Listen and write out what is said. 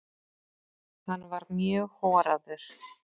Hann var mjög horaður.